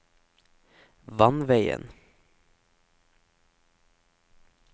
vannveien